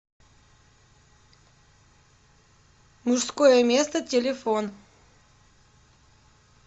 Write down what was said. мужское место телефон